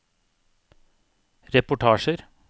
reportasjer